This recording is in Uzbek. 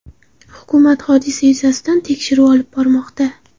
Hukumat hodisa yuzasidan tekshiruv olib bormoqda.